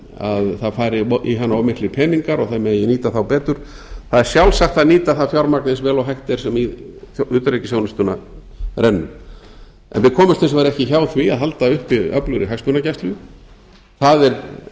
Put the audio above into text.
að það fari í hana of miklir peningar og það megi nýta þá betur það er sjálfsagt að nýta það fjármagn eins vel og hægt er sem í utanríkisþjónustuna rennur en við komumst hins vegar ekki hjá því að halda uppi öflugri hagsmunagæslu það er eitt